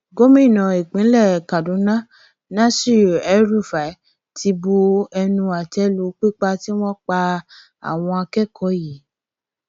gomina ìpínlẹ kaduna nasir elrufai ti bu ẹnu àtẹ lù pípa tí wọn pa àwọn akẹkọọ yìí